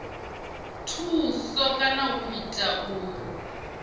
thusi kana u ita uri